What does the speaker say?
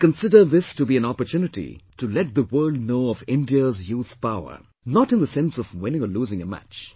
I consider this to be an opportunity to let the world know of India's youth power not in the sense of winning or losing a match